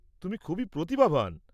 তুমি খুবই প্রতিভাবান।